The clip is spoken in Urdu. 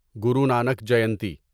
گرو نانک جینتی